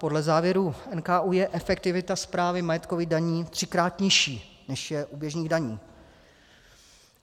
Podle závěrů NKÚ je efektivita správy majetkových daní třikrát nižší, než je u běžných daní.